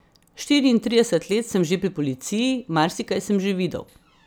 Štiriintrideset let sem že pri policiji, marsikaj sem že videl.